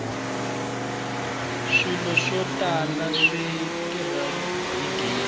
swilo swo tala swi tirha hi gezi